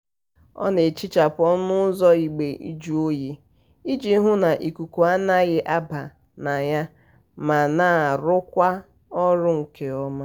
ọ na-ehichapụ ọnụ ụzọ igbe njụoyi iji hụ na ikuku anaghị aba na ya ma na-arụkwa ọrụ nke ọma.